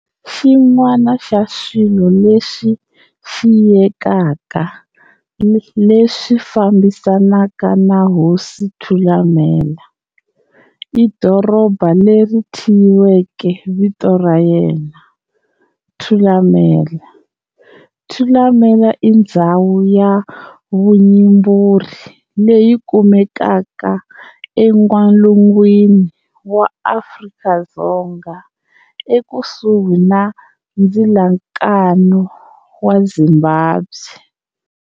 Xin'wana xa swilo leswi xiyekaka leswi fambisanaka na hosi Thulamela i doroba leri thyiweke vito ra yena, Thulamela. Thulamela i ndzhawu ya vuyimburi leyi kumekaka en'walungwini wa Afrika-Dzonga ekusuhi na ndzilakano wa Zimbabwe.